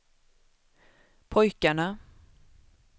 pojkarna